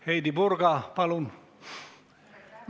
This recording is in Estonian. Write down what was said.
Heidy Purga, palun!